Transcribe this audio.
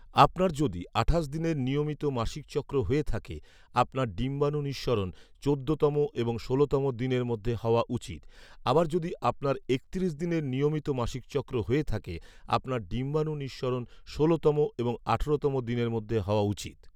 আপনার যদি আঠাশ দিনের নিয়মিত মাসিকচক্র হয়ে থাকে, আপনার ডিম্বাণু নিঃসরণ চোদ্দতম এবং ষোলতম দিনের মধ্যে হওয়া উচিত, আবার যদি আপনার একত্রিশ দিনের নিয়মিত মাসিকচক্র হয়ে থাকে, আপনার ডিম্বাণু নিঃসরণ ষোলতম এবং আঠারোতম দিনের মধ্যে হওয়া উচিত